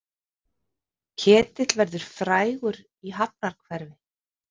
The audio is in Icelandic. Ketill verður frægur í hafnarhverfi